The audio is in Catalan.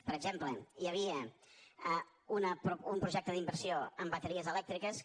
per exemple hi havia un projecte d’inversió en bateries elèctriques que